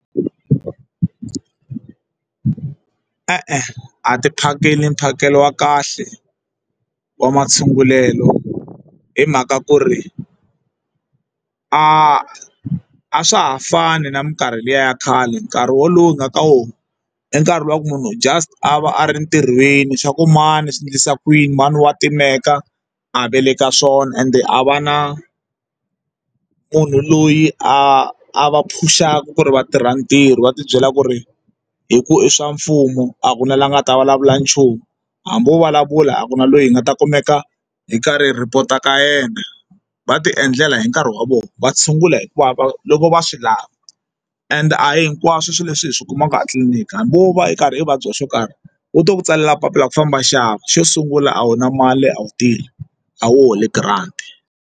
E-e, a ti phakeli mphakelo wa kahle wa ma tshungulelo hi mhaka ku ri a a swa ha fani na minkarhi liya ya khale nkarhi wolowo hi nga ka wona e nkarhi luwa wa munhu just a va a ri ntirhweni swa ku mani swi endlisa ku yini mhani wa timeka a ve le ka swona ende a va na munhu loyi a va phuxana ku ri va tirha ntirho va ti byela ku ri hi ku i swa mfumo a ku na lava nga ta vulavula nchumu hambi wo vulavula a ku na loyi hi nga ta kumeka hi karhi hi report ka yena va ti endlela hi nkarhi wa vona va tshungula hikuva va loko va swi lava and a hi hinkwaswo swilo leswi hi swi kumaka a tliliniki hambi wo va u karhi u vabya swo karhi wu to ku tsalela papila ra ku famba nxava xo sungula a wu na mali a wu tirhi a wu holi grant.